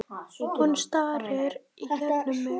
Hún starir í gegnum mig.